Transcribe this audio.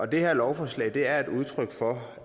det her lovforslag er udtryk for